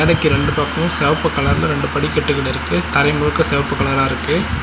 டைக்கு ரெண்டு பக்கமு செவப்பு கலர்ல ரெண்டு படிக்கட்டுகள் இருக்கு தரை முழுக்க செவப்பு கலரா இருக்கு.